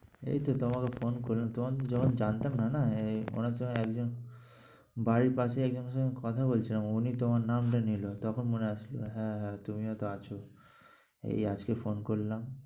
এই তো তোমাকে phone করলাম। তোমাকে যখন জানতাম না। এই একজন বাড়ির পাশেই একজনের সঙ্গে কথা বলছিলাম উনি তোমার নামটা নিলো তখন মনে আসলো হ্যাঁ হ্যাঁ তুমিও তো আছ। এই আজকে phone করলাম।